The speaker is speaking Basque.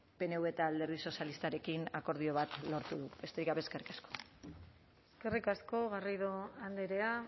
pnv eta alderdi sozialistarekin akordio bat lortu dugu besterik gabe eskerrik asko eskerrik asko garrido andrea